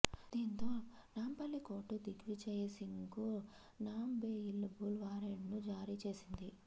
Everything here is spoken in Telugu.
దీంతో నాంపల్లి కోర్టు దిగ్విజయ్ సింగ్కు నాన్బెయిలబుల్ వారెంట్ను జారీ చేసింది